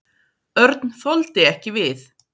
Örn þoldi ekki við.